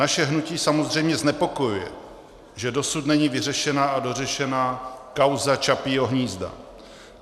Naše hnutí samozřejmě znepokojuje, že dosud není vyřešena a dořešena kauza Čapího hnízda.